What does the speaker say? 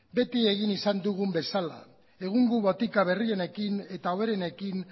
beti egin izan dugun bezala egungo botika berrienekin eta hoberenekin